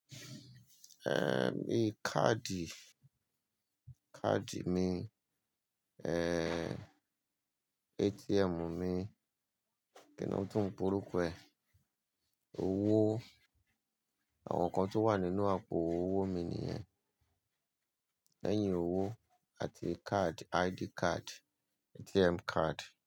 Ehn, bii káàdì, káàdì mi, ehn, ATM mi, kí ni ó tún ń porúkọ ẹ́? Owó, àwọn nǹkan tó wà nínú àpò owó mi nìyẹn. Lẹ́yìn owó àti card, ID card, ATM card.